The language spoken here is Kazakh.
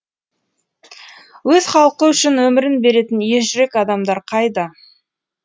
өз халқы үшін өмірін беретін ержүрек адамдар қайда